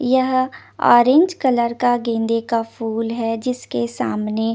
यह orange colour का गेंदे का फुल हे जिसके सामने --